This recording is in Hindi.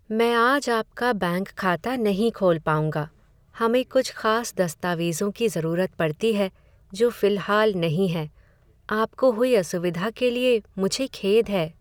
मैं आज आपका बैंक खाता नहीं खोल पाऊंगा। हमें कुछ खास दस्तावेज़ों की ज़रूरत पड़ती है, जो फिलहाल नहीं हैं। आपको हुई असुविधा के लिए मुझे खेद है।